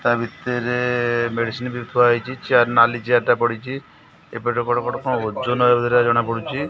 ତା ଭିତେରେ ମେଡିସନ ବି ଥୁଆ ହେଇଚି। ଚେୟାର ନାଲି ଚେୟାର ଟା ପଡ଼ିଚି। ଏପଟେ ବଡ଼ ବଡ଼ କଣ ଓଜନ ଏଭରିଆ କଣ ଜଣା ପଡୁଚି।